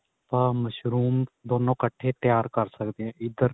ਆਪਾਂ ਮਸ਼ਰੂਮ ਦੋਨੋ ਇਕੱਠੇ ਤਿਆਰ ਕ਼ਰ ਸਕਦੇ ਆ ਜੀ ਇੱਧਰ